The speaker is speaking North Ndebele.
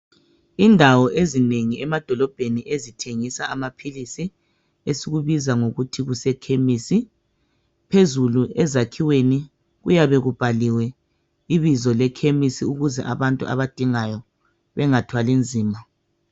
Indawo ezinengi emadolobheni ezithengisa amaphilisi esikubiza ngokuthi kuse khemisi phezulu ezakhiweni kuyane kubhaliwe ibizo le khemisi ukuze abantu abadingayo bengathwali nzima.